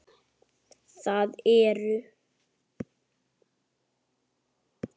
Það eru